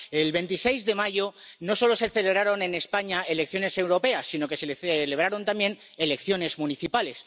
El 26 de mayo no solo se celebraron en España elecciones europeas, sino que se celebraron también elecciones municipales.